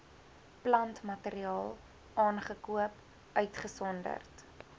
plantmateriaal aangekoop uitgesonderd